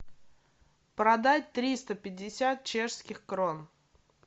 продать триста пятьдесят чешских крон